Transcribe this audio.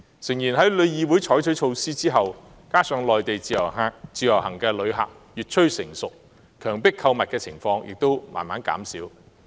誠然，在旅議會採取措施後，加上內地自由行的旅客越趨成熟，強迫購物的情況亦逐漸減少。